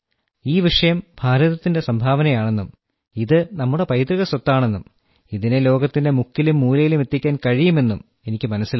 ഈ വിഷയം ഭാരതത്തിന്റെ സംഭാവനയാണെന്നും ഇത് നമ്മുടെ പൈതൃക സ്വത്താണെന്നും ഇതിനെ ലോകത്തിന്റെ മുക്കിലും മൂലയിലും എത്തിക്കാൻ കഴിയും എന്നും എനിക്കു മനസ്സിലായി